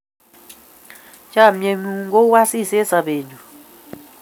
chamiet ng'un ko u asis eng' sabet nyun